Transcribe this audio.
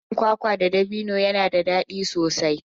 Haɗin kwakwa da ɗabino yana da daɗi sosai.